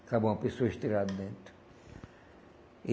Acaba uma pessoa estirada dentro. E